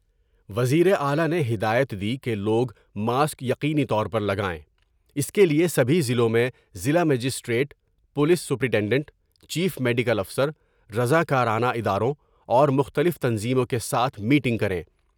وزیر اعلی نے ہدایت دی کہ لوگ ماسک یقینی طور پر لگائیں ، اس کے لئے سبھی ضلعوں میں ضلع magistrate, police superintendent, chief medical افسر ، رضا کرانہ اداروں اور مختلف تنظیموں کے ساتھ میٹنگ کریں ۔